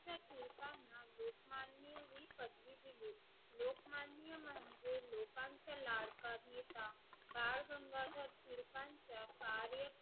यांचा लाडका नेता बाळ गंगाधर टिळकांच्या